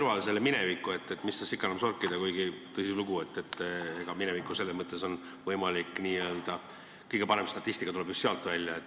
Ma jätan mineviku kõrvale, mis tast ikka enam sorkida, kuigi tõsilugu, kõige parem statistika tuleb just sealt välja.